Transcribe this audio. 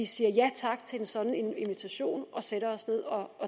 siger ja tak til en sådan invitation og sætter os ned og